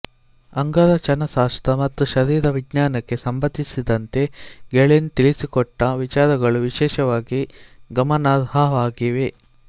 ಅಂಗರಚನಾಶಾಸ್ತ್ರ ಮತ್ತು ಶರೀರ ವಿಜ್ಞಾನಕ್ಕೆ ಸಂಬಂಧಿಸಿದಂತೆ ಗೇಲೆನ್ ತಿಳಿಸಿಕೊಟ್ಟ ವಿಚಾರಗಳು ವಿಶೇಷವಾಗಿ ಗಮನಾರ್ಹವಾಗಿವೆ